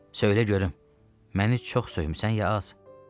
“Söylə görüm, məni çox söymüsən, ya az?”